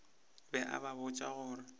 be a ba botša gore